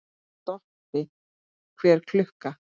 Stoppi hver klukka!